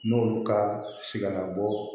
N'olu ka si kana bɔ